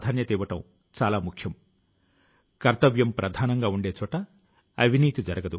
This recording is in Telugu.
12వ తరగతి మార్కులు మీ జీవిత లక్ష్యాలను నిర్ణయిస్తాయి అని అనుకోవద్దు